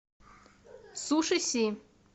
суши си